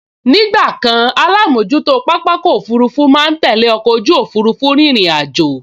Ní ìgbàkan alámojútó pápákọ̀ òfurufú máa n tẹ́lẹ̀ ọkọ̀ ojú òfurufú rírìn àjò